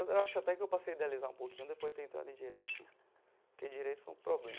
Eu acho até que eu passei a idealizar um pouquinho depois de ter entrado em Direito né, porque Direito foi um problema.